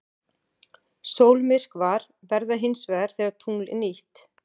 Sólmyrkvar verða hins vegar þegar tungl er nýtt.